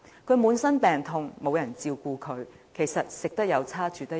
她周身病痛沒人照顧，飲食和居住環境同樣惡劣。